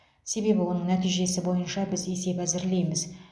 себебі оның нәтижесі бойынша біз есеп әзірлейміз